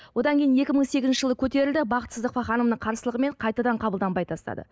одан кейін екі мың сегізінші жылы көтерілді бақыт сыздықова ханымның қарсылығымен қайтадан қабылданбай тастады